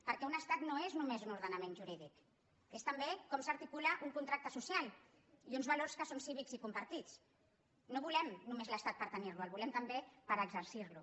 perquè un estat no és només un ordenament jurídic és també com s’articula un contracte social i uns valors que són cívics i compartits no volem només l’estat per tenir lo el volem també per exercir lo